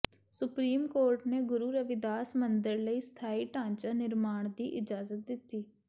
supreme court ਨੇ ਗੁਰੂ ਰਵਿਦਾਸ ਮੰਦਰ ਲਈ ਸਥਾਈ ਢਾਂਚਾ ਨਿਰਮਾਣ ਦੀ ਇਜਾਜ਼ਤ ਦਿੱਤੀ